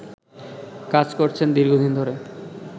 কাজ করছেন দীর্ঘদিন ধরে